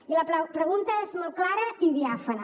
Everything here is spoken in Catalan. i la pregunta és molt clara i diàfana